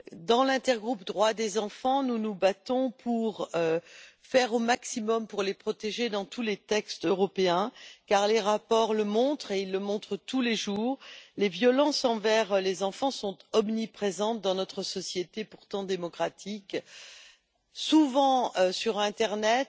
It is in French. Dans l'intergroupe Droits de l'enfant, nous nous battons pour protéger au maximum les enfants dans tous les textes européens, car les rapports le montrent tous les jours les violences envers les enfants sont omniprésentes dans notre société, pourtant démocratique, souvent sur l'internet,